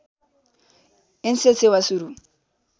एन्सेल सेवा सुरू